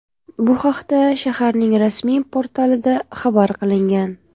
Bu haqda shaharning rasmiy portalida xabar qilingan .